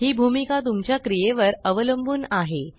हि भूमिका तुमच्या क्रियेवर अवलंबुन आहे